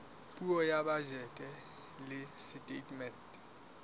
puo ya bajete le setatemente